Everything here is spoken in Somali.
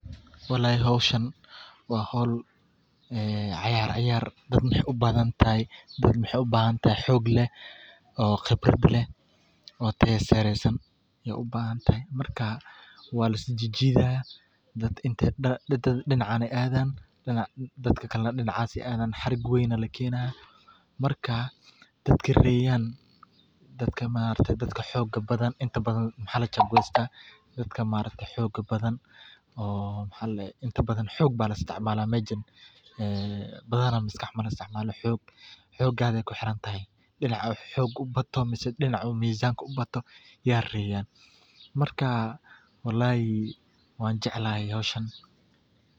Howshan waa howl ciyaar, dad waxeey ubahan tahay xoog badan, dad dinac dadna dinac, inta badan waxaa la qaata dadka xooga badan, dinaca uu mizaanka ubato ayaa reeyan.